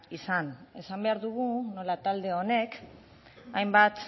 izan esan behar dugu nola talde honek hainbat